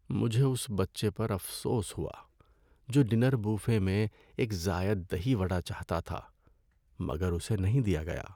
مجھے اس بچے پر افسوس ہوا جو ڈنر بوفے میں ایک زائد دہی وڈا چاہتا تھا مگر اسے نہیں دیا گیا۔